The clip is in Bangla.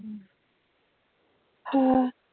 হ্যাঁ